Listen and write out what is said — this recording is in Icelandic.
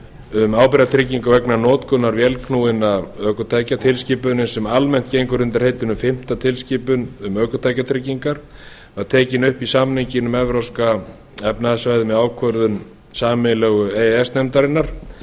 um ábyrgðartryggingu vegna notkunar vélknúinna ökutækja tilskipunin sem almennt gengur undir heitinu fimmta tilskipun um ökutækjatryggingar var tekin upp í samninginn um evrópska efnahagssvæðið með ákvörðun sameiginlegu e e s nefndarinnar